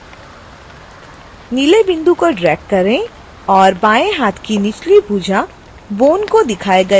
नीले बिंदु को ड्रैग करें और बाएँ हाथ की निचली भुजा bone को दिखाए गए अनुसार खिसकाएँ